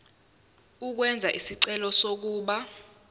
ukwenza isicelo sokuba